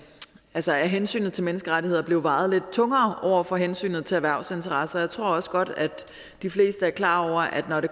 altså at hensynet til menneskerettigheder blev vejet lidt tungere over for hensynet til erhvervsinteresser jeg tror også godt at de fleste er klar over at når det